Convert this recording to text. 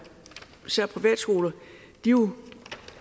jo